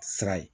Sira ye